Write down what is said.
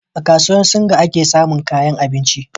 a kasuwar singa ake samin kayan abinci